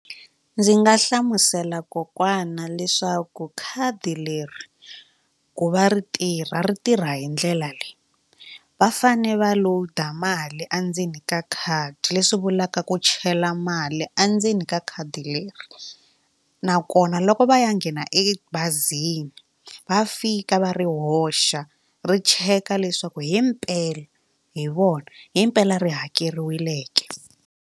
Ndzi nga hlamusela kokwana leswaku khadi leri ku va ri tirha ri tirha hi ndlela leyi va fane va load mali a ndzeni ka khadi leswi vulaka ku chela mali endzeni ka khadi leri nakona loko va ya nghena ebazini va fika va ri hoxa ri cheka leswaku himpela hi vona himpela ri hakeriwile ke.